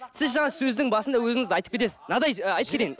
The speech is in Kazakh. сіз жаңа сөздің басында өзіңіз де айтып кетесіз мынадай айтып кетейін